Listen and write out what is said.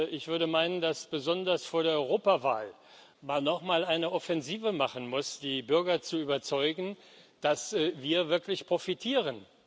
Ich würde meinen, dass man besonders vor der Europawahl noch mal eine Offensive machen muss, um die Bürger zu überzeugen, dass wir wirklich profitieren.